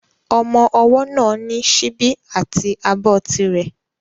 Ọmọ ọwọ́ náà ní síbi àti abọ́ ti rẹ̀